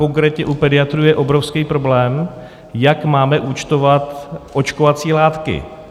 Konkrétně u pediatrů je obrovský problém, jak máme účtovat očkovací látky.